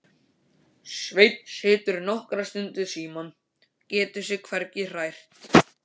Svenni situr nokkra stund við símann, getur sig hvergi hrært.